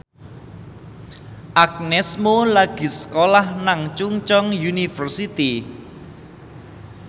Agnes Mo lagi sekolah nang Chungceong University